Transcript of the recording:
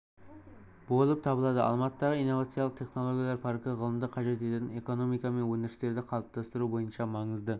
болып табылады алматыдағы инновациялық технологиялар паркі ғылымды қажет ететін экономика мен өндірістерді қалыптастыру бойынша маңызды